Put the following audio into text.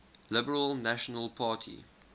liberal national party